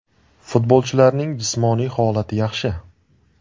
Futbolchilarning jismoniy holati yaxshi.